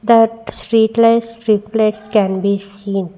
That street lights reflects can be seen.